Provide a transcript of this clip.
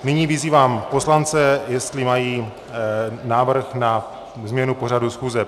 Nyní vyzývám poslance, jestli mají návrh na změnu pořadu schůze.